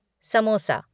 samosa